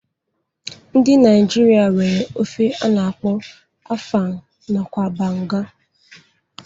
Ndi Naijiria nwere ofe a na-akpọ afang nakwa banga.